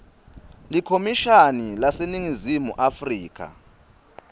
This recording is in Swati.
likhomishani laseningizimu afrika